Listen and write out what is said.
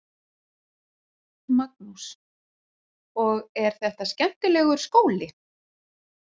Magnús: Og er þetta skemmtilegur skóli?